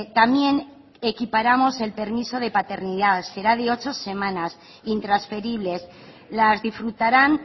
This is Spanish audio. también equiparamos el permiso de paternidad será de ocho semanas intransferibles las disfrutarán